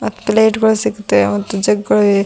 ಪ್ಲೇಟ್ಗಳು ಸಿಗ್ತವೆ ಮತ್ತು ಜಗ್ಗಳು ಇವೆ.